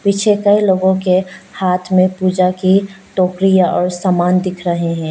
पीछे कइ लोगों के हाथ में पूजा की टोकरी और सामान दिख रहे हैं।